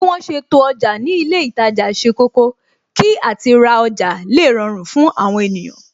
Bí wọn ṣe to ọjà ni ilé itaja ṣe kọ́kọ́, kí àti ra ọjà le rọrùn fún àwọn ènìyàn